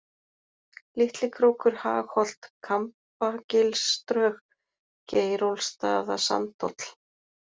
Litlikrókur, Hagholt, Kambagilsdrög, Geirólfsstaðasandhóll